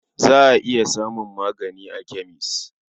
Za a iya samun magani a kemes.